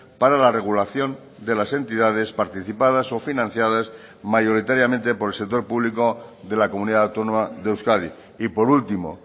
para la regulación de las entidades participadas o financiadas mayoritariamente por el sector público de la comunidad autónoma de euskadi y por último